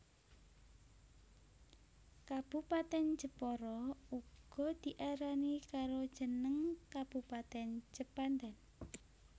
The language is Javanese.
Kabupatèn Jepara uga diarani karo jeneng Kabupatèn Jepanten